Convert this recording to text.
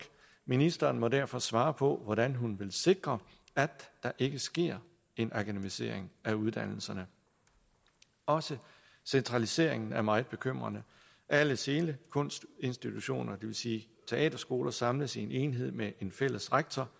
ministeren må derfor svare på hvordan hun vil sikre at der ikke sker en akademisering af uddannelserne også centraliseringen er meget bekymrende alle scenekunstinstitutioner det vil sige teaterskoler samles i en enhed med fælles rektor